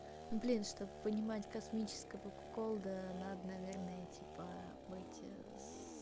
ну блин чтобы понимать космического куколда надо наверное типа быть с